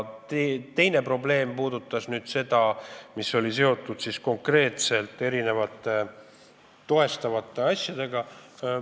Teine probleem on seotud konkreetselt toestavate asjadega.